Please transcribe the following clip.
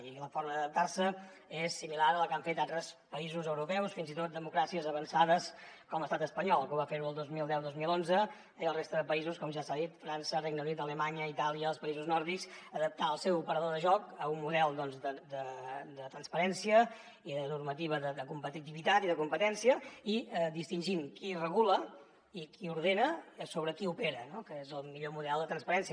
i la forma d’adaptarse és similar a la que han fet altres països europeus fins i tot democràcies avançades com l’estat espanyol que va ferho el dos mil deudos mil onze eh i la resta de països com ja s’ha dit frança regne unit alemanya itàlia els països nòrdics adaptar el seu operador de joc a un model de transparència i de normativa de competitivitat i de competència i distingint qui regula i qui ordena sobre qui opera que és el millor model de transparència